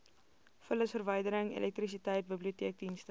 vullisverwydering elektrisiteit biblioteekdienste